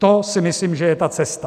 To si myslím, že je ta cesta.